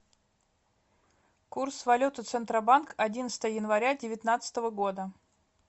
курс валюты центробанк одиннадцатое января девятнадцатого года